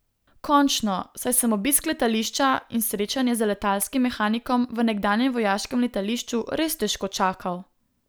Končno, saj sem obisk letališča in srečanje z letalskim mehanikom v nekdanjem vojaškem letališču res težko čakal.